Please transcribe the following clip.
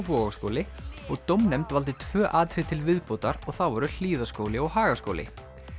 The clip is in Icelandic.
Vogaskóli og dómnefnd valdi tvö atriði til viðbótar og það voru Hlíðaskóli og Hagaskóli